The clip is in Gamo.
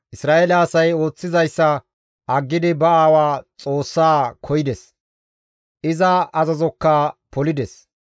Isra7eele asay ooththizayssa aggidi ba aawa Xoossaa koyides; iza azazokka polides.